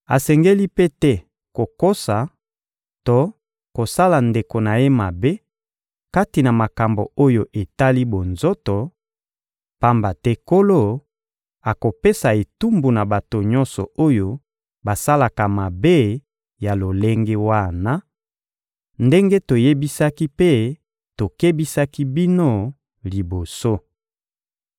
asengeli mpe te kokosa to kosala ndeko na ye mabe kati na makambo oyo etali bonzoto, pamba te Nkolo akopesa etumbu na bato nyonso oyo basalaka mabe ya lolenge wana, ndenge toyebisaki mpe tokebisaki bino liboso.